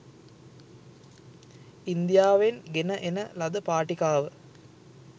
ඉන්දියාවෙන් ගෙන එන ලද පාටිකාව